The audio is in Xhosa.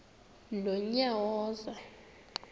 nonyawoza